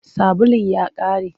Sabulun ya ƙare.